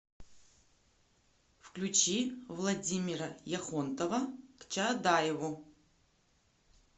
включи владимира яхонтова к чаадаеву